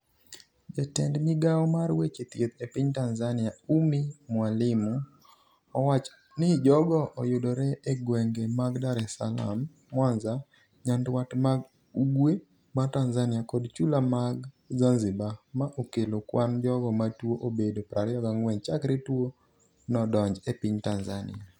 Jatend migao mar weche thieth e piny Tanzania, Ummy Mwalimu owacho ni jogo oyudre e gwenge mag Dar es Salaam, Mwanza, Nyanduat ma Ugwe mar Tanzania kod chula mag Zanzibar, ma okelo kwan jogo matuo obedo 24 chakre tuo no donj e piny Tanzania.